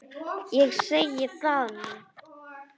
Ég segi það nú!